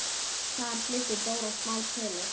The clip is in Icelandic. Þar flutti Dóra smá tölu.